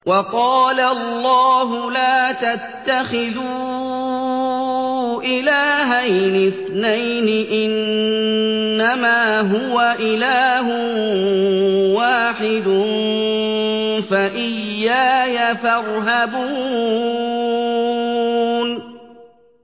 ۞ وَقَالَ اللَّهُ لَا تَتَّخِذُوا إِلَٰهَيْنِ اثْنَيْنِ ۖ إِنَّمَا هُوَ إِلَٰهٌ وَاحِدٌ ۖ فَإِيَّايَ فَارْهَبُونِ